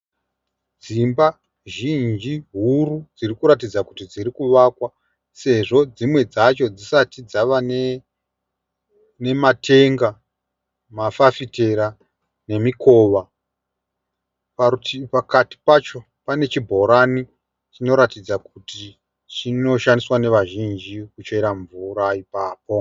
Dzimba zhinji huru dzirikuratidza kuti dziri kuvakwa sezvo dzimwe dzacho dzisati dzava nematenga, mafafitera nemikowa. Parutivi pakati pacho pane chibhorani chinoratidza kuti chinoshandiswa nevazhinji kuchera mvura ipapo.